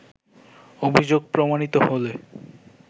অভিযোগ প্রমাণিত হলে